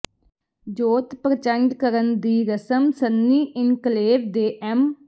ਜੋਤ ਪ੍ਰਚੰਡ ਕਰਨ ਦੀ ਰਸਮ ਸੰਨੀ ਇਨਕਲੇਵ ਦੇ ਐਮ